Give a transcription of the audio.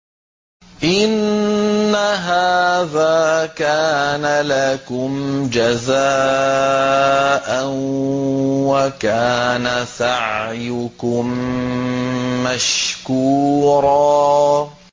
إِنَّ هَٰذَا كَانَ لَكُمْ جَزَاءً وَكَانَ سَعْيُكُم مَّشْكُورًا